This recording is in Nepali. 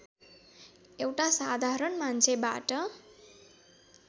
एउटा साधारण मान्छेबाट